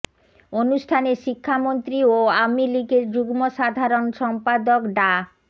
অনুষ্ঠানে শিক্ষামন্ত্রী ও আওয়ামী লীগের যুগ্ম সাধারণ সম্পাদক ডা